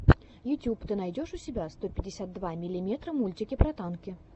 ютюб ты найдешь у себя сто пятьдесят два миллиметра мультики про танки